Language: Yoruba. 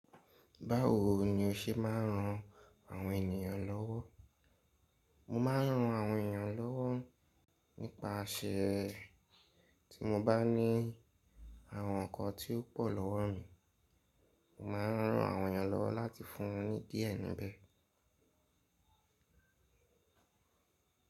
Báwo ni o ṣe máa ń ran àwọn ènìyàn lọ́wọ́? Mo máa ń ran àwọn ènìyàn lọ́wọ́ nípa àsè tí mo bá ní àwọn nǹkan tí ó pọ̀ lọ́wọ́ mi, mo máa ń ran àwọn ènìyàn lọ́wọ́ láti fún ni díẹ̀ níbẹ̀.